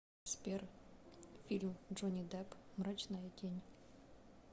сбер фильм джонни депп мрачная тень